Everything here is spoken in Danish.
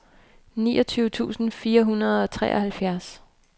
niogtyve tusind fire hundrede og treoghalvfjerds